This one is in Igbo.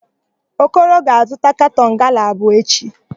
Okoro ga-azụta katọn gala abụọ echi.